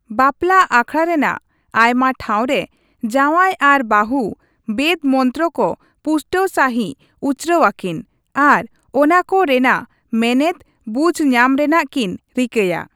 ᱵᱟᱯᱞᱟ ᱟᱠᱷᱲᱟ ᱨᱮᱱᱟᱜ ᱟᱭᱢᱟ ᱴᱷᱟᱶ ᱨᱮ ᱡᱟᱶᱟᱭ ᱟᱨ ᱵᱟᱹᱦᱩ ᱵᱮᱫᱽ ᱢᱚᱱᱛᱨᱚ ᱠᱚ ᱯᱩᱥᱴᱟᱹᱣ ᱥᱟᱹᱦᱤᱡ ᱩᱪᱨᱟᱹᱣ ᱟᱹᱠᱤᱱ ᱟᱨ ᱚᱱᱟᱠᱚ ᱨᱮᱱᱟᱜ ᱢᱮᱱᱮᱫ ᱵᱩᱡᱽᱧᱟᱢ ᱨᱮᱱᱟᱜ ᱠᱤᱱ ᱨᱤᱠᱟᱹᱭᱟ ᱾